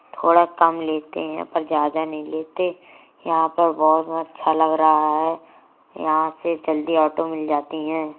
थोड़ा कम लेते है पर ज्यादा नहीं लेते। यहाँ पर बोहोत अच्छा लग रहा है। यहाँ से जल्दी ऑटो मिल जाती है।